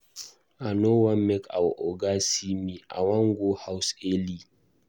I no wan make our Oga see me I wan go house early.